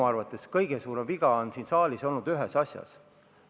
Minu arvates on kõige suurem viga siin saalis olnud ühes asjas.